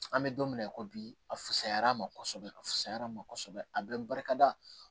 An bɛ don mina i ko bi a fisayara ma kosɛbɛ a fisayara ma kosɛbɛ a bɛ barika da